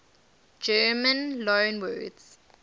german loanwords